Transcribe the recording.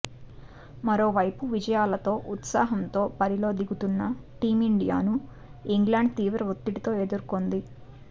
మరోవైపు విజయాలతో ఉత్సాహంతో బరిలో దిగుతున్న టీమిండియాను ఇంగ్లాండ్ తీవ్ర ఒత్తిడితో ఎదుర్కోనుంది